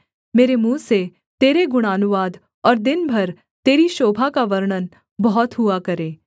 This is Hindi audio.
मेरे मुँह से तेरे गुणानुवाद और दिन भर तेरी शोभा का वर्णन बहुत हुआ करे